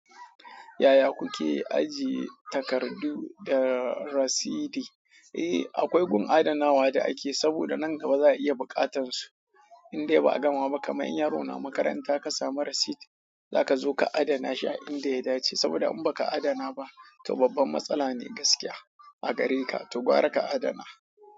Yaya kuke ajiye takardu da rasidi? Eh akwai gun adanawa da ake saboda nan gaba zaa iya bukatar su indai ba a gama ba, kamar yaro na makaranta ka samu rasiti, zaka zo ka adana shi a inda ya dace. Saboda in ba ka adana ba, to babban matsala ne gaskiya a gare ka, to gwara ka adana.